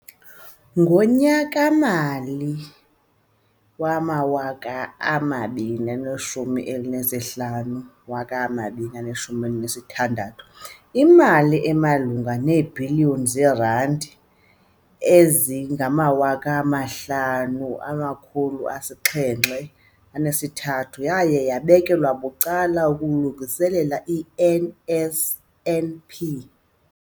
Ngonyaka-mali wama-2015, 16, imali emalunga neebhiliyoni zeerandi eziyi-5 703 yaye yabekelwa bucala ukulungiselela i-NSNP.